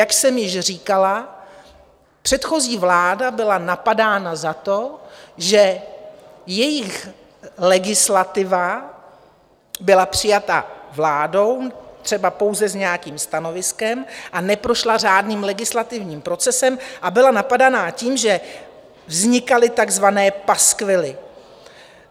Jak jsem již říkala, předchozí vláda byla napadána za to, že jejich legislativa byla přijata vládou třeba pouze s nějakým stanoviskem a neprošla řádným legislativním procesem, a byla napadána tím, že vznikaly takzvané paskvily.